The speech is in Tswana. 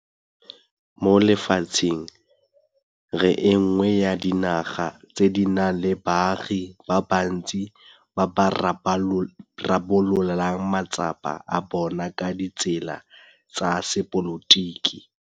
Mo lefatsheng re e nngwe ya dinaga tse di nang le baagi ba bantsi ba ba rarabololang matsapa a bona ka ditsela tsa sepolotiki.